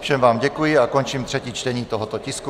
Všem vám děkuji a končím třetí čtení tohoto tisku.